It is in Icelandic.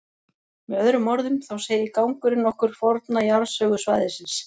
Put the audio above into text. Með öðrum orðum, þá segir gangurinn okkur forna jarðsögu svæðisins.